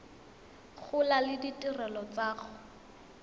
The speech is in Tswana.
gola le ditirelo tsa go